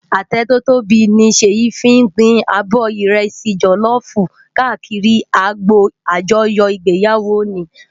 Atẹ tò tóbi ni Seyi fin pin ábò ìrẹsì jòlòfú kàákìrí ágbó ájòyò igbéyáwó óni